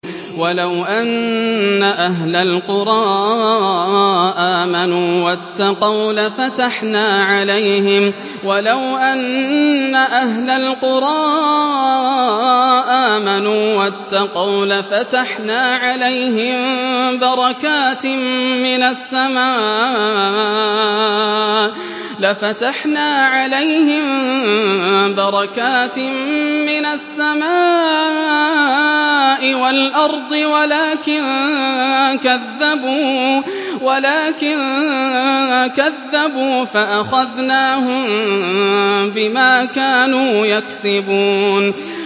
وَلَوْ أَنَّ أَهْلَ الْقُرَىٰ آمَنُوا وَاتَّقَوْا لَفَتَحْنَا عَلَيْهِم بَرَكَاتٍ مِّنَ السَّمَاءِ وَالْأَرْضِ وَلَٰكِن كَذَّبُوا فَأَخَذْنَاهُم بِمَا كَانُوا يَكْسِبُونَ